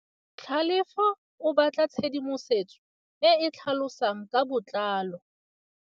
Tlhalefô o batla tshedimosetsô e e tlhalosang ka botlalô.